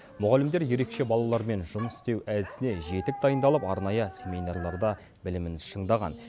мұғалімдер ерекше балалармен жұмыс істеу әдісіне жетік дайындалып арнайы семинарларда білімін шыңдаған